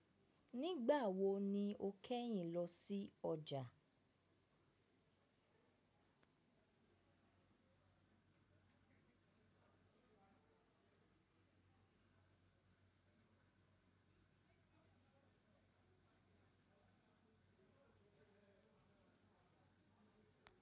Nígbà wo ni o kẹ́yìn lọ sí ọjà?